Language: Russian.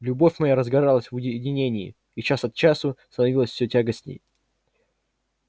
любовь моя разгоралась в уединении и час от часу становилась всё тягостней